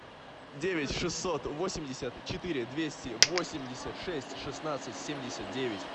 девять шестьсот восемьдесят четыре двести восемьдесят шесть шестнадцать семьдесят девять